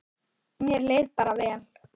Mér leið bara vel.